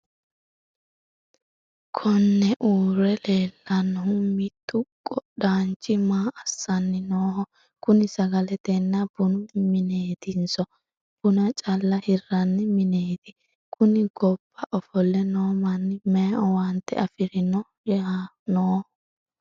konne uurre leellannohu mittu qodhaanchi maa assanni nooho? kuni sagaletenna bunu mineetinso buna calla hirranni mineeti? kuni gobba ofo'le noo manni mayi owaante afiranni nooho?